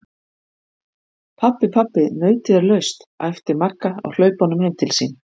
Pabbi, pabbi nautið er laust! æpti Magga á hlaupunum heim til sín.